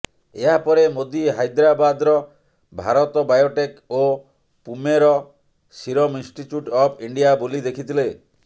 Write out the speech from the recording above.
ଏହାପରେ ମୋଦି ହାଇଦ୍ରାବାଦ୍ର ଭାରତ ବାୟୋଟେକ୍ ଓ ପୁମେର ସିରମ୍ ଇନଷ୍ଟିଚ୍ୟୁଟ୍ ଅଫ୍ ଇଣ୍ଡିଆ ବୁଲି ଦେଖିଥିଲେ